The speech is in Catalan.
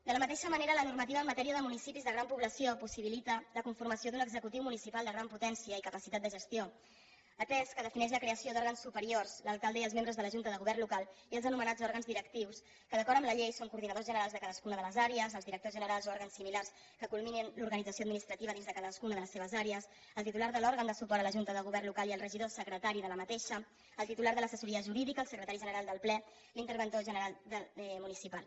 de la mateixa manera la normativa en matèria de municipis de gran població possibilita la conformació d’un executiu municipal de gran potència i capacitat de gestió atès que defineix la creació d’òrgans superiors l’alcalde i els membres de la junta de govern local i els anomenats òrgans directius que d’acord amb la llei són coordinadors generals de cadascuna de les àrees els directors generals o òrgans similars que culminin l’organització administrativa dins de cadascuna de les seves àrees el titular de l’òrgan de suport a la junta de govern local i el regidor secretari d’aquesta el titular de l’assessoria jurídica el secretari general del ple l’interventor general municipal